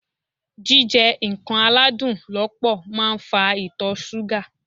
Jíjẹ nǹkan aládùn lọ́pọ̀ máa ń fa Ìtọ̀ súgà.